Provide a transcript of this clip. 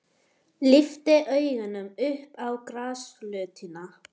Lyfti augunum upp á grasflötina.